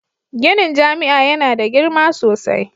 Ginin jami'a yana da girma sosai